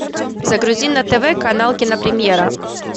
загрузи на тв канал кинопремьера